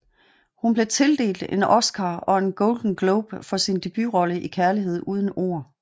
Hun blev tildelt en Oscar og en Golden Globe for sin debutrolle i Kærlighed uden ord